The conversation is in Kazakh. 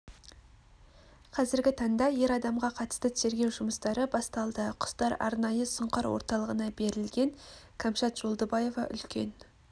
қазіргі таңда ер адамға қатысты тергеу жұмыстары басталды құстар арнайы сұңқар орталығына берілген кәмшат жолдыбаева үлкен